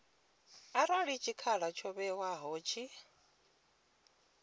arali tshikhala tsho ṅewaho tshi